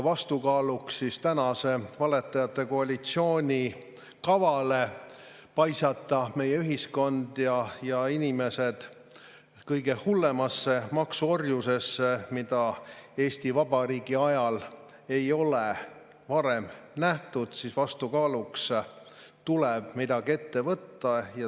Vastukaaluks tänase valetajate koalitsiooni kavale paisata meie ühiskond ja inimesed kõige hullemasse maksuorjusesse, mida Eesti Vabariigi ajal ei ole varem nähtud, tuleb midagi ette võtta.